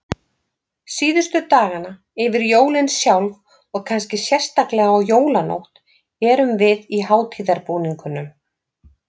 Síðustu dagana, yfir jólin sjálf og kannski sérstaklega á jólanótt, erum við í hátíðarbúningunum.